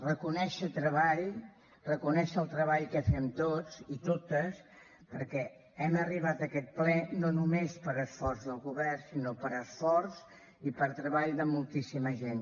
reconèixer treball reconèixer el treball que fem tots i totes perquè hem arribat a aquest ple no només per esforç del govern sinó per esforç i per treball de moltíssima gent